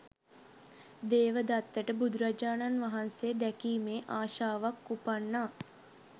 දේවදත්තට බුදුරජාණන් වහන්සේ දැකීමේ ආශාවක් උපන්නා.